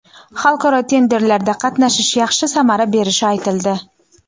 xalqaro tenderlarda qatnashish yaxshi samara berishi aytildi.